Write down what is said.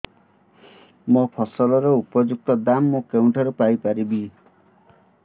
ମୋ ଫସଲର ଉପଯୁକ୍ତ ଦାମ୍ ମୁଁ କେଉଁଠାରୁ ପାଇ ପାରିବି